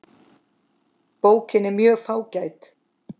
Bókin er mjög fágæt.